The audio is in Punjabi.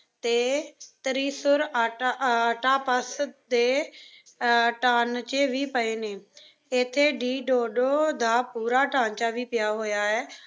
ਅਤੇ ਤਰੀਸੁਰ ਆਟਾ ਅੱਟਾ ਪਸ ਦੇ ਅਹ ਟਾਨਚੇ ਵੀ ਪਏ ਨੇਂ। ਇੱਥੇ ਈ ਡੋਡੋ ਦਾ ਪੂਰਾ ਢਾਂਚਾ ਵੀ ਪਿਆ ਹੋਇਆ ਏ।